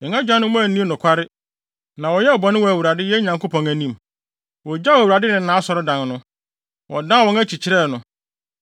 Yɛn agyanom anni nokware, na wɔyɛɛ bɔne wɔ Awurade, yɛn Nyankopɔn anim. Wogyaw Awurade ne nʼAsɔredan no; wɔdan wɔn akyi kyerɛɛ no.